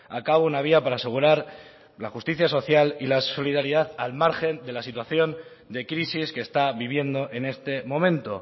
a cabo una vía para asegurar la justicia social y la solidaridad al margen de la situación de crisis que está viviendo en este momento